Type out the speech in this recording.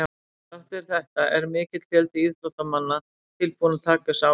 Þrátt fyrir þetta er mikill fjöldi atvinnuíþróttamanna tilbúinn að taka þessa áhættu.